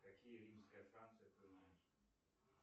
какие римская франция ты знаешь